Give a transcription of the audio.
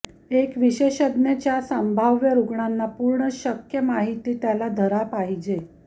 एक विशेषज्ञ च्या संभाव्य रुग्णांना पूर्ण शक्य माहिती त्याला धरा पाहिजे